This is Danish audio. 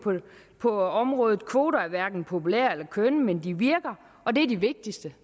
på området kvoter er hverken populære eller kønne men de virker og det er det vigtigste